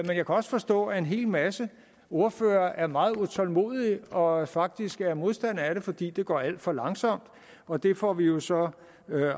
jeg kan også forstå at en hel masse ordførere er meget utålmodige og faktisk er modstandere af det fordi det går alt for langsomt og det får vi jo så